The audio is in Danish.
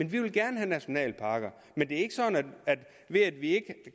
vi vil gerne have nationalparker men det er ikke sådan at ved at vi ikke